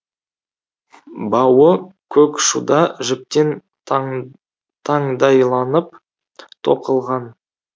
бауы көк шуда жіптен таң таңдайланып тоқылған